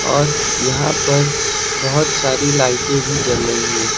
और यहां पर बहोत सारी लाइटें भी जल रही है।